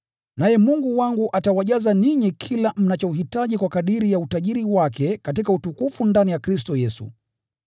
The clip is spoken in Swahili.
Naye Mungu wangu atawajaza ninyi na kila mnachohitaji kwa kadiri ya utajiri wake katika utukufu ndani ya Kristo Yesu.